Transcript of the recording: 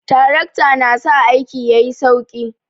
Trakta na sa aiki yayi sauki